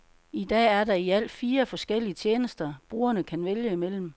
I dag er der i alt fire forskellige tjenester, brugerne kan vælge imellem.